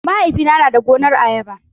Mahaifina na da gonar ayaba.